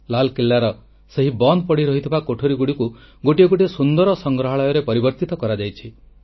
ଲାଲକିଲ୍ଲାର ସେହି ବନ୍ଦ ପଡ଼ି ରହିଥିବା କୋଠରୀଗୁଡ଼ିକୁ ଗୋଟିଏ ଗୋଟିଏ ସୁନ୍ଦର ସଂଗ୍ରହାଳୟରେ ପରିବର୍ତ୍ତିତ କରାଯାଇଛି